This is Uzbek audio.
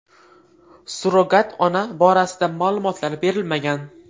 Surrogat ona borasida ma’lumotlar berilmagan.